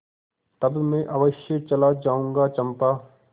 तब मैं अवश्य चला जाऊँगा चंपा